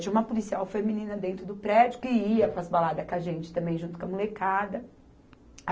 Tinha uma policial feminina dentro do prédio, que ia para as baladas com a gente também, junto com a molecada.